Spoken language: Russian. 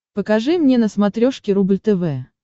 покажи мне на смотрешке рубль тв